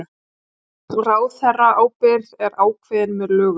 Ráðherraábyrgð er ákveðin með lögum